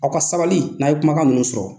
Aw ka sabali n'a ye kuma kan nunnu sɔrɔ.